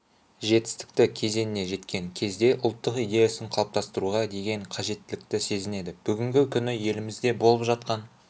жетістікті кезеңіне жеткен кезде ұлттық идеясын қалыптастыруға деген қажеттілікті сезінеді бүгінгі күні елімізде болып жатқан